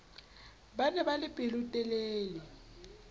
ba ne ba le pelotelele